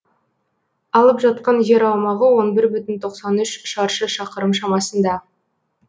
алып жатқан жер аумағы он бір бүтін тоқсан үш шаршы шақырым шамасында